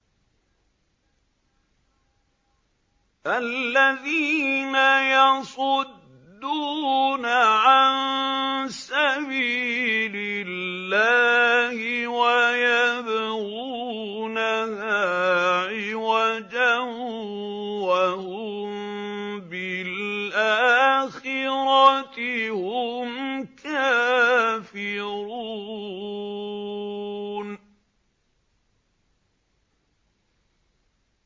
الَّذِينَ يَصُدُّونَ عَن سَبِيلِ اللَّهِ وَيَبْغُونَهَا عِوَجًا وَهُم بِالْآخِرَةِ هُمْ كَافِرُونَ